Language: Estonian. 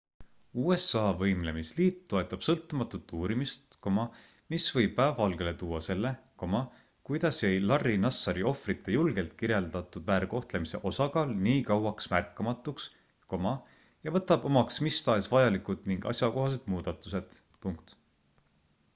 usa võimlemisliit toetab sõltumatut uurimist mis võib päevavalgele tuua selle kuidas jäi larry nassari ohvrite julgelt kirjeldatud väärkohtlemise osakaal nii kauaks märkamatuks ja võtab omaks mis tahes vajalikud ning asjakohased muudatused